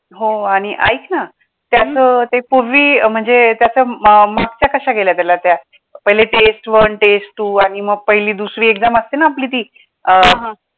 हो आणि ऐक ना, त्याचं अं ते पूर्वी म्हणजे त्याच्या मागच्या कशा गेल्या त्याला त्या पहिले test one test two आणि मग पहिली दुसरी exam असते ना, आपली ती अं